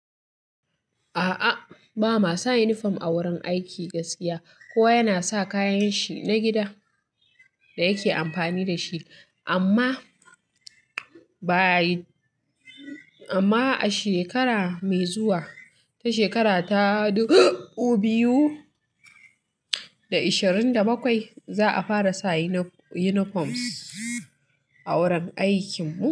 A'a, ba ma sa uniform a wurin aiki gaskiya. Kowa yana sa kayan shi na gida da yake amfani da shi. Amma by, amma a shekara mai zuwa, ta shekara ta dubu biyu da ishirin da bakwai za a fara sa unifoms a wurin aikin mu.